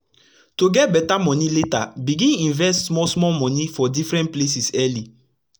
to get beta moni later begin invest small small moni for different places early